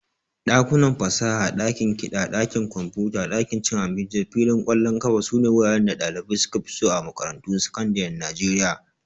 Dakunan fasaha, dakin kiɗa, ɗakin kwamfuta, ɗakin cin abinci da filin ƙwallon ƙafa sune wuraren da ɗalibai suka fi so a makarantun sakandaren Najeriya